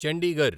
Chandigarh